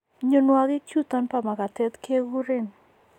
Mnyonuagik chuton bo magatet ke guren